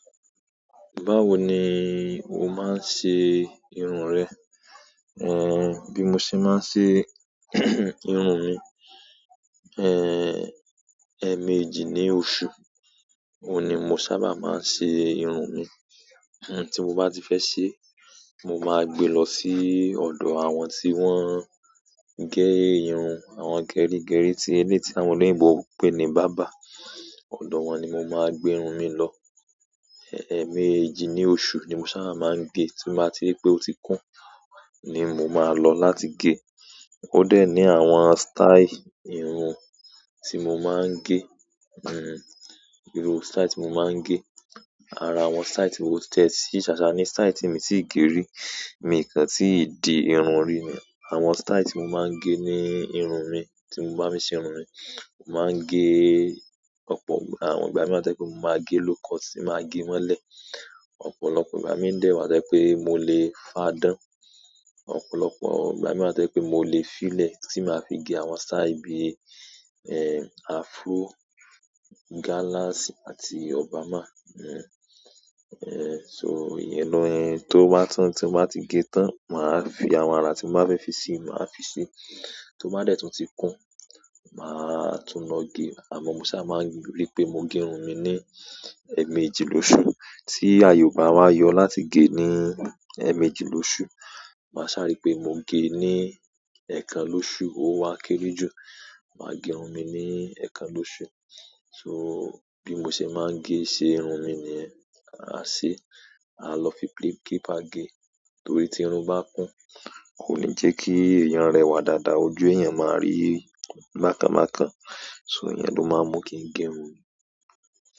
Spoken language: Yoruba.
Báwo ni o máa ń ṣe irun rẹ? Bí mo ṣe máa ń ṣe irun mi, ẹẹ̀mẹjì ní oṣù, oun ni mo sábà máa ń ṣe irun mi. Ti mo bá ti fẹ́ ṣe, mo máa gbe lọ sí ọ̀dọ̀ àwọn tí wọ́n ń gẹ irun, àwọn gerígerí, eleyi ti àwọn oloyinbo n pè ní barber. Ọ̀dọ̀ wọn ni mo máa gbé irun mi lọ. Ẹẹ̀mẹjì ní oṣù ni mo sábà máa ń ge. Tí mo bá ti ri pé ó ti kún, ni mo máa lọ láti ge. Ó dẹ̀ ní àwọn style irun tí mo máa ń ge iru style tí mo máa ń ge ara àwọn style ti mo, ko tie si, sasa ni style ti mi o tii ge ri. Mi kàn tii di irun rí ni àwọn style tí mo máa ń gẹ̀ ní irun mi, tí mo bá ṣe irun mi. Mo máa gẹ̀, àwọn ìgbà míi wa ti mo máa ge lówcut tí màá gẹ̀ mọ́lẹ̀. Ọ̀pọ̀lọpọ̀ ìgbà mii de wa to je pe mo le fa dan. Ọ̀pọ̀lọpọ̀ ìgbà míibwa to je pé mo lè fílẹ̀ tí màá fi gẹ̀ àwọn style bí afro, galax àti Obama. So ìyẹn ni tó bá tán tí mo bá ti gẹ̀ tán, màá fi àwọn ara tí mo bá fẹ́ fi si màá fi si. Tó bá dẹ̀ tun ti kún, màá tún lọ ge. Àmọ́ mo sá máa ń rí pé mo ge irun mi ní ẹẹ̀mẹjì lọṣù. Tí àye o ba wa yọ láti gẹ̀ ní ẹẹ̀mẹjì lọṣù. Màá saa ri pe mo ge ní ẹẹ́kan lóṣu, ó wá kéré jù. Màá ge irun mi ní ẹẹ́kan lóṣù. Bí mo ṣe máa ń ṣe irun mi niyen. A lọ fi clipper ge. Torí tí irun bá kun, kò ní jẹ́ kí ẹ̀yàn rẹwà dáadáa, ojú ẹ̀yàn máa rí bakanbakan. Iyennló máa ń mú kí n ge irun mi.